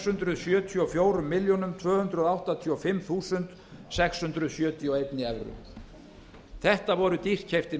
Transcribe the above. hundruð sjötíu og fjórar milljónir tvö hundruð áttatíu og fimm þúsund sex hundruð sjötíu og einni evru þetta voru dýrkeyptir